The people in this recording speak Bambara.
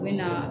N bɛ na